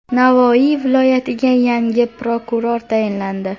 Navoiy viloyatiga yangi prokuror tayinlandi.